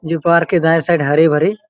ये पार्क के दाँए साइड हरे-भरे--